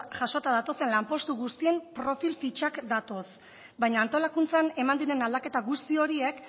jasota datozen lanpostu guztien profil fitxak datoz baina antolakuntzan eman diren aldaketa guzti horiek